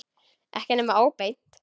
Ekki nema óbeint.